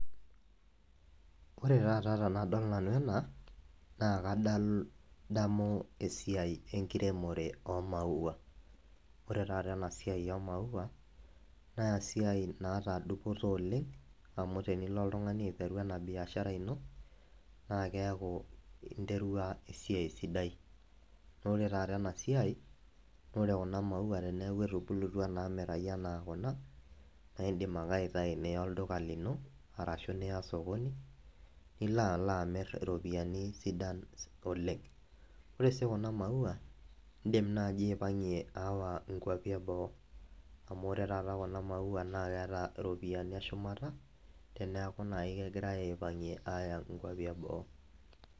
ore taata tenadol nanu ena naa kadamu esiai enkiremore oo maua. ore taata ena siai oo maua naa esiai naata dupoto oleng. amu tenilo oltungani aiteru ena biashara aiano naa keeku interua esiai sidai. naa ore taata ena siai naa ore kuna mauau peeku etubulutua anaa kuna, na idim ake aiatayu niya olduka lino. arashu niya sokoni, nilo alo amir iropiyiani sidan olengore si kuna maua, idim naaji aipangie awa nkuapi eboo. amu ore kuna maua naa keeta iropiyiani eshumata teenku naji kegirae aipang'ie aaya nkuapi eboo.